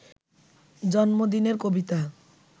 জন্মদিনের কবিতা